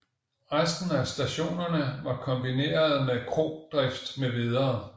Resten af stationerne var kombinerede med krodrift mv